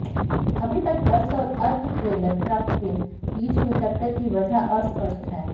अभी तक बस और अर्ध ट्रेलर ट्रक के बीच हुई टक्कर की वजह अस्पष्ट है